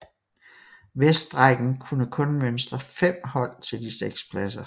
Vestrækken kunne kun mønstre 5 hold til de 6 pladser